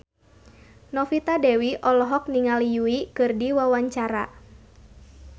Novita Dewi olohok ningali Yui keur diwawancara